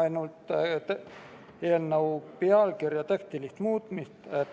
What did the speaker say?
ainult eelnõu teksti muutmist.